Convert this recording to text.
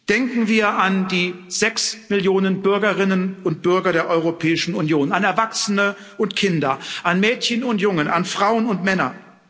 Denken wir an die sechs Millionen Bürgerinnen und Bürger der Europäischen Union, an Erwachsene und Kinder, an Mädchen und Jungen, an Frauen und Männer.